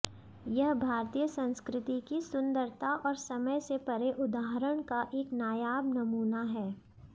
यह भारतीय संस्कृति की सुदंरता और समय से परे उदाहरण का एक नायाब नमूना है